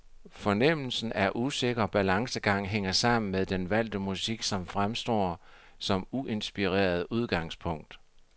Fornemmelsen af usikker balancegang hænger sammen med den valgte musik, som fremstår som uinspirerende udgangspunkt.